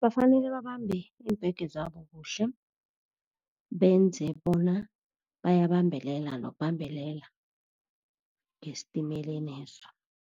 Bafanele babambe iimbhege zabo kuhle, benze bona bayabambelela nokubambelela ngesitimeleneso.